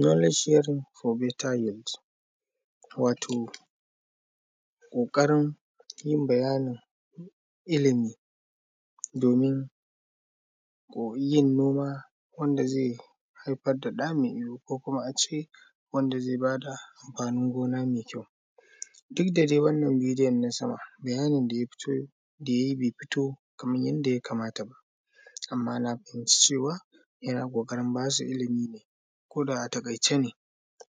“Knowledge sharing for better yields”, wato ƙaƙarin yin bayanin ilimi domin yin noma wanda ze haifar da ɗa me ido ko kuma a ce, wanda ze ba da amfanin gona me kyau. Did da de wannan bidiyan na sama, bayanin da ya fito; da ya yi be fito kaman yadda ya kamata ba, amma na fahimci cewa, yana ƙoƙarin ba su ilimi ne ko da a taƙaice ne,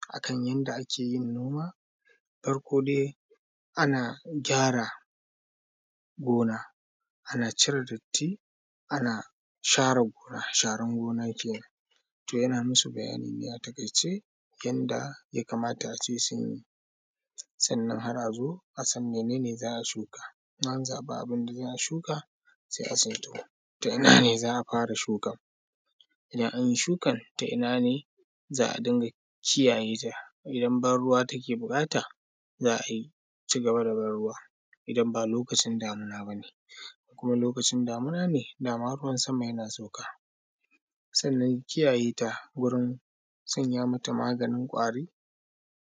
a kan yanda ake yin noma. Farko de, ana gyara gona, ana cire datti, ana share gona, sharan gona kenan. To, yana musu bayanin ne a taƙaice, yanda ya kamata a ce sun yi, sannan ahr a zo a san mene ne za a shuka. In an zaƃi abin da za a shuka, sai a san to; to, ina ne za a fara shukan, idan an yi shukar to ina ne za a dinga kiyaye ta. Idan banruwa take buƙata, za a yi; ci gabat da banruwa idan ba lokacin damina ba ne. In kuma lokacin damina ne, da ma ruwan sama yana sauka. Sannan, kiyaye ta wurin sanya mata maganin ƙwari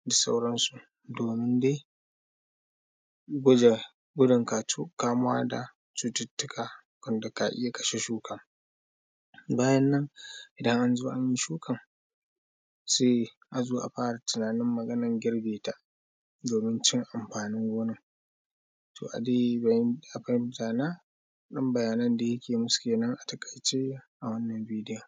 da sauran su domin de, guje; gudun katu; kamuwa da cututtuka wanda ka iya kashe shukan. Bayan nan, idan an zo an yi shukan, se a zo a fara tinanin maganar girbe ta, domin cin amfanin gonan. To a de bayanin, a fahinta na, ɗan bayanin da yake musu kenan a taƙaice, a wannan bidiyan.